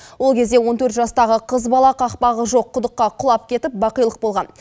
ол кезде он төрт жастағы қыз бала қақпағы жоқ құдыққа құлап кетіп бақилық болған